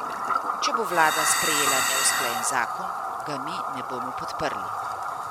Če bo vlada sprejela neusklajen zakon, ga mi ne bomo podprli.